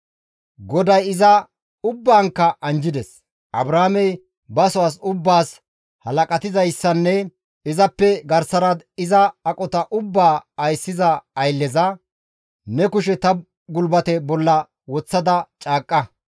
Abrahaamey baso as ubbaas halaqatizayssanne izappe garsara iza aqota ubbaa ayssiza aylleza, «Ne kushe ta gulbate bolla woththada caaqqa.